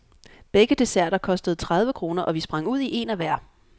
Begge desserter kostede tredive kroner, og vi sprang ud i een af hver.